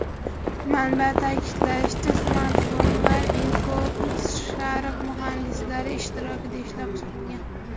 Manba ta’kidlashicha, smartfonlar InFocus/Sharp muhandislari ishtirokida ishlab chiqilgan.